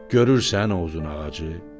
Görürsən o uzun ağacı?